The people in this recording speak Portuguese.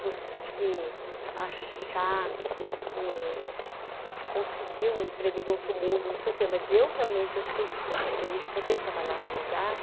Você achar que eh conseguiu um emprego do outro mundo, não sei o quê, mas eu realmente fiquei super feliz de poder trabalhar num lugar